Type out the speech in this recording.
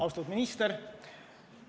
Austatud minister!